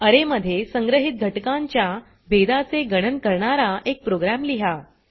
अरे मध्ये संग्रहीत घटकांच्या भेदाचे गणन करणारा एक प्रोग्राम लिहा